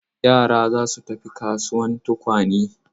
Yara za su tafi kasuwan tukwane.